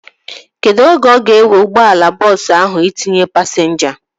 Kedụ oge ọ ga-ewe ụgbọala bọọsu ahu itinye pasinja?